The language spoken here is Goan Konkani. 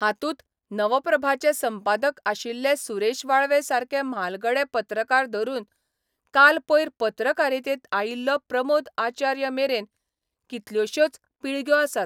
हातूंत 'नवप्रभा'चे संपादक आशिल्ले सुरेश वाळवे सारके म्हालगडे पत्रकार धरून काल पयर पत्रकारितेंत आयिल्लो प्रमोद आचार्य मेरेन कितल्योशोच पिळग्यो आसात.